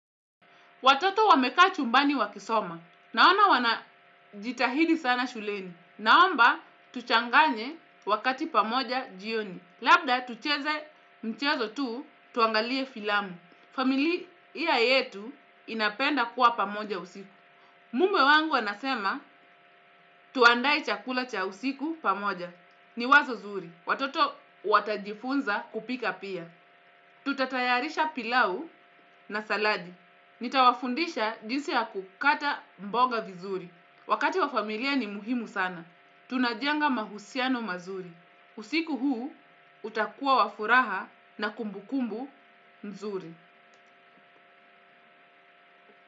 Watoto wamekaa chumbani wakisoma. Naona wana jitahidi sana shuleni. Naomba tuchanganye wakati pamoja jioni. Labda tucheze mchezo tuu tuangalie filamu. Familia yetu inapenda kuwa pamoja usiku. Mume wangu anasema tuandae chakula cha usiku pamoja. Ni wazo zuri. Watoto watajifunza kupika pia. Tutatayarisha pilau na saladi. Nitawafundisha jinsi ya kukata mboga vizuri. Wakati wa familia ni muhimu sana. Tunajenga mahusiano mazuri. Usiku huu utakua wafuraha na kumbukumbu nzuri.